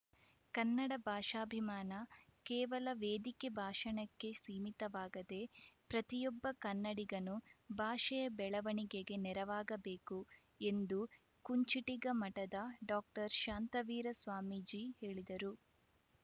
ಕನ್ನಡ ಭಾಷಾಭಿಮಾನ ಕೇವಲ ವೇದಿಕೆ ಭಾಷಣಕ್ಕೆ ಸೀಮಿತವಾಗದೇ ಪ್ರತಿಯೊಬ್ಬ ಕನ್ನಡಿಗನೂ ಭಾಷೆಯ ಬೆಳವಣಿಗೆಗೆ ನೆರವಾಗಬೇಕು ಎಂದು ಕುಂಚಿಟಿಗ ಮಠದ ಡಾಕ್ಟರ್ ಶಾಂತವೀರ ಸ್ವಾಮೀಜಿ ಹೇಳಿದರು